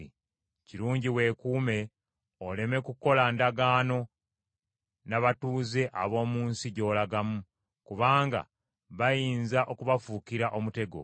Kirungi weekuume oleme kukola ndagaano n’abatuuze ab’omu nsi gy’olagamu, kubanga bayinza okubafuukira omutego.